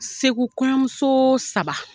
SeKu kɔɲɔmuso saba.